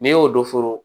N'i y'o dɔ foro